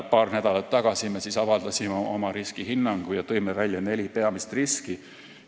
Paar nädalat tagasi me avaldasime oma riskihinnangu ja tõime esile neli peamist riski.